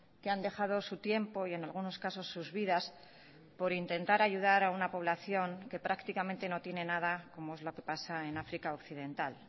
que han dejado su tiempo y en algunos casos sus vidas por intentar ayudar a una población que prácticamente no tiene nada como es lo que pasa en áfrica occidental